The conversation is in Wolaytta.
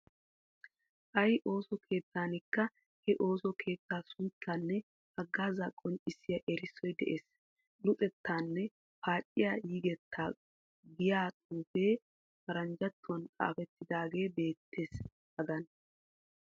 Ay ooso keettaanikka he ooso keettaa sunttaanne haggaazaa qonccissiya erissoy de'ees. Luxettaanne paaciya yigettaa giya xuufee paranjjattuwan xaafettidaagee beettees hagan.